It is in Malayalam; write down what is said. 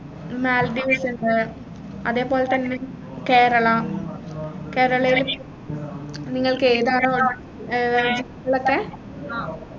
മാൽഡീവ്സ് ഇണ്ട് അതെ പോലെത്തന്നെ കേരള കേരളയിൽ നിങ്ങൾക്കെതാണ് വേണ്ടേ ഏർ